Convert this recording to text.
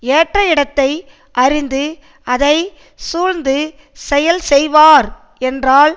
ஏற்ற இடத்தை அறிந்து அதை சூழ்ந்து செயல் செய்வார் என்றால்